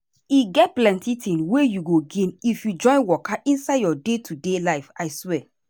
e get plenty thing wey you go gain if you join waka inside your day-to-day life i swear.